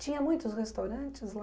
Tinha muitos restaurantes lá?